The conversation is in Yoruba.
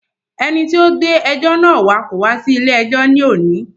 Ẹni tí o gbé ẹjọ́ náà wá kò wá sí ilé ẹjọ́ ní òní.